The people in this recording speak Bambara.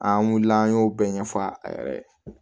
An wulila an y'o bɛɛ ɲɛfɔ a yɛrɛ ye